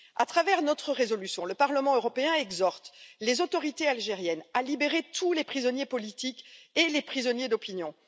Par notre résolution, le Parlement européen exhorte les autorités algériennes à libérer tous les prisonniers politiques et les prisonniers d'opinion.